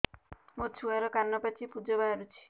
ମୋ ଛୁଆର କାନ ପାଚି ପୁଜ ବାହାରୁଛି